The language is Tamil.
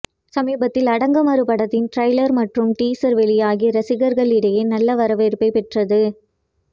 சமீபத்தில் அடங்கமறு படத்தின் ட்ரெய்லர் மற்றும் டீசர் வெளியாகி ரசிகர்களிடையே நல்ல வரவேற்பை பெற்றது